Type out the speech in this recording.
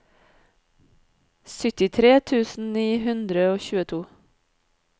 syttitre tusen ni hundre og tjueto